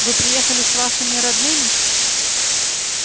вы приехали с вашими родными